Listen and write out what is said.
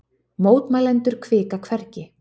Mótmælendur hvika hvergi